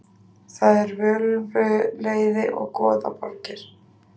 Það eru völvuleiði og goðaborgir.